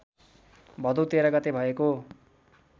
भदौ १३ गते भएको